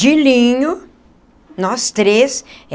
De linho, nós três.